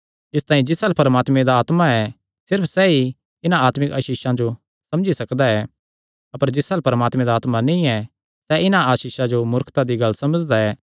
इसतांई जिस अल्ल परमात्मे दा आत्मा ऐ सिर्फ सैई इन्हां आत्मिक आसीषां जो समझी सकदा ऐ अपर जिस अल्ल परमात्मे दा आत्मा नीं ऐ सैह़ इन्हां आसीषां जो मूर्खता दी गल्ल समझदा ऐ